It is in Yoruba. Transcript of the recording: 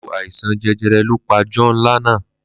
lku aisan jejere lo pa John Lana.